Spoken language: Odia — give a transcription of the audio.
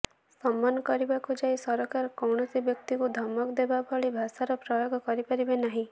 ସମନ କରିବାକୁ ଯାଇ ସରକାର କୌଣସି ବ୍ୟକ୍ତିଙ୍କୁ ଧମକ ଦେବା ଭଳି ଭାଷାର ପ୍ରୟୋଗ କରିପାରିବେ ନାହିଁ